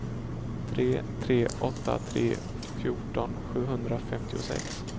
tre tre åtta tre fjorton sjuhundrafemtiosex